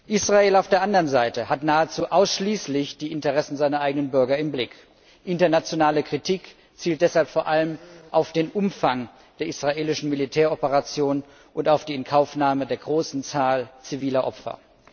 Israel auf der anderen Seite hat nahezu ausschließlich die Interessen seiner eigenen Bürger im Blick. Internationale Kritik zielt deshalb vor allem auf den Umfang der israelischen Militäroperation und auf die Inkaufnahme der großen Zahl ziviler Opfer.